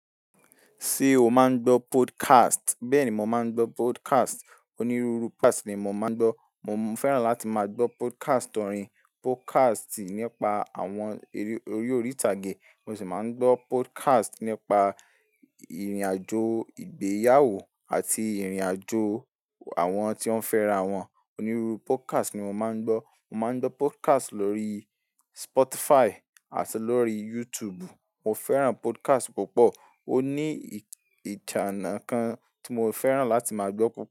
Ṣé o máa ń gbọ́ podcast? Bẹ́ẹ̀ ni, mo máa ń gbọ́ podcast. Onírúurú podcast ni mo máa ń gbọ́. Mo fẹ́ràn láti máa gbọ́ podcast orin, podcast nípa àwọn eré orí ìtàgé, mo sì máa ń gbọ́ podcast nípa ìrìnàjò ìgbéyàwó àti ìrìnàjò àwọn tí wọ́n fẹ́ra wọn. Onírúurú podcast ni mo máa ń gbọ́. Mo máa ń gbọ́ podcast lórí Spotify àti lórí YouTube. Mo fẹ́ràn podcast púpọ̀, ó ní ìjànnà kan tí mo fẹ́ràn láti máa gbọ́ púpọ̀